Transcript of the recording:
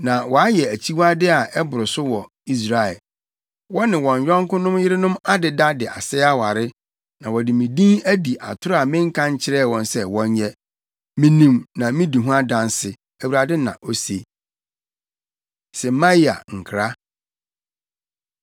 Na wɔayɛ akyiwade a ɛboro so wɔ Israel: wɔne wɔn yɔnkonom yerenom adeda de asɛe aware, na wɔde me din adi atoro a menka nkyerɛɛ wɔn sɛ wɔnyɛ. Minim na midi ho adanse,” Awurade na ose. Semaia Nkra